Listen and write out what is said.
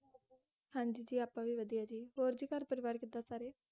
ਹਾਂਜੀ ਜੀ, ਆਪਾਂ ਵੀ ਵਧਿਆ ਜੀ ਹੋਰ ਜੀ ਘਰ ਪਰਿਵਾਰ ਕਿੱਦਾਂ ਸਾਰੇ?